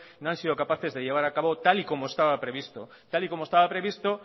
no han sido capaces de llevar a cabo tal y como estaba previsto tal y como estaba previsto